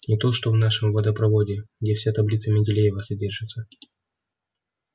не то что в нашем водопроводе где вся таблица менделеева содержится